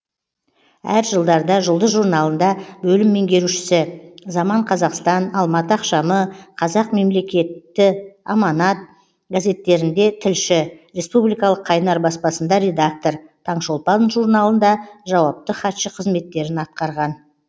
әр жылдарда жұлдыз журналында бөлім меңгерушісі заман қазақстан алматы ақшамы қазақ мемлекетт аманат газеттерінде тілші республикалық қайнар баспасында редактор таң шолпан журналында жауапты хатшы қызметтерін атқарған